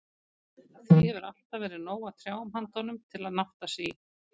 Því hefur alltaf verið nóg af trjám handa honum, til að nátta sig í.